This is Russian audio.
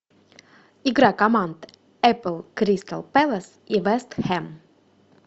игра команд апл кристал пэлас и вест хэм